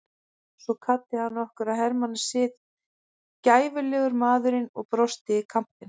Svo kvaddi hann okkur að hermannasið, gæfulegur maðurinn og brosti í kampinn.